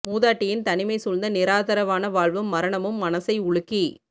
மூதாட்டியின் தனிமை சூழ்ந்த நிராதரவான வாழ்வும் மரணமும் மனசை உலுக்கி